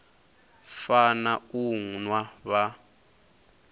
fana na u nwa vha